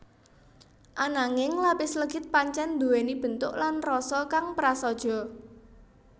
Ananging lapis legit pancèn nduwèni bentuk lan rasa kang prasaja